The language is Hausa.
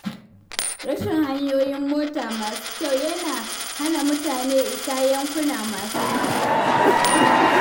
Rashin hanyoyin mota masu kyau yana hana mutane isa yankuna masu nisa.